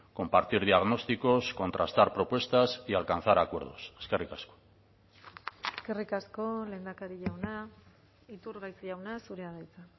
compartir diagnósticos contrastar propuestas y alcanzar acuerdos eskerrik asko eskerrik asko lehendakari jauna iturgaiz jauna zurea da hitza